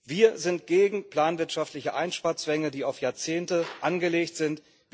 Wir sind gegen planwirtschaftliche Einsparzwänge, die auf Jahrzehnte angelegt sind.